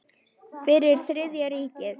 Fyrir Þriðja ríkið.